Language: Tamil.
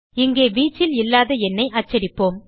இங்கே வீச்சில் இல்லாத எண்ணை அச்சடிப்போம்